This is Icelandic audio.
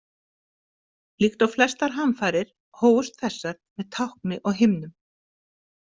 Líkt og flestar hamfarir hófust þessar með tákni á himnum.